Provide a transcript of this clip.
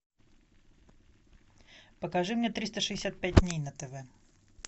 покажи мне триста шестьдесят пять дней на тв